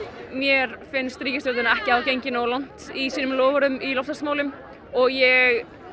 mér finnst ríkisstjórnin ekki hafa gengið nógu langt í sínum loforðum og ég